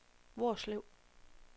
Hvorslev